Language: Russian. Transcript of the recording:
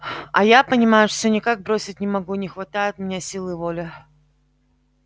а я понимаешь всё никак бросить не могу не хватает у меня силы воли